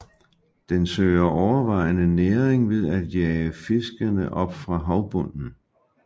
Den søger overvejende næring ved at jage fiskene op fra havbunden